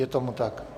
Je tomu tak.